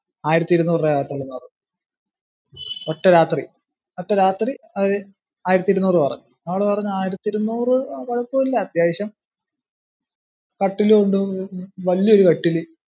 ആയിരത്തി ഇരുനൂറു രുപ ആവത്തെ ഉള്ളന്നൂ പറഞ്ഞു. ഒറ്റ രാത്രി, ഒറ്റ രാത്രി ആയിരത്തി ഇരുനൂറു രൂപ പറഞ്ഞു, ഞങ്ങള് പറഞ്ഞു ആയിരത്തി ഇരുനൂറു കുഴപ്പമില്ല, അത്യാവശ്യം കട്ടില് ഉണ്ട്, വലിയ ഒരു കട്ടില്.